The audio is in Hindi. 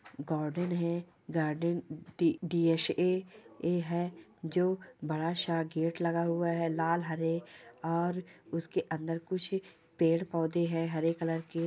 गार्डन है गार्डन डीसा ए है जो बड़ा सा गेट लगा हुआ है लालहरे और उसके अंदर कुछ पेड़ पौधे हैं हेयर कलर के--